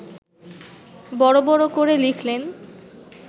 বড় বড় করে লিখলেন